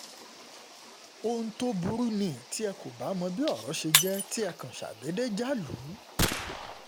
ohun tó burú ni tí ẹ kò bá mọ bí ọ̀rọ̀ ṣe jẹ́ tí ẹ kàn ṣàdédé já lù ú